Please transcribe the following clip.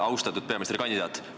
Austatud peaministrikandidaat!